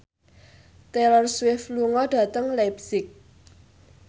Taylor Swift lunga dhateng leipzig